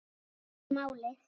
Það er málið.